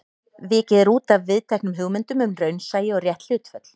Vikið er útaf viðteknum hugmyndum um raunsæi og rétt hlutföll.